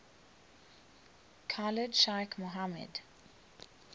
khalid sheikh mohammed